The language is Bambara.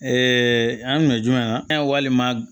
an kun ye jumɛn ye walima